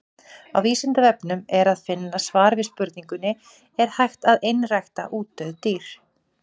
Á Vísindavefnum er að finna svar við spurningunni Er hægt að einrækta útdauð dýr?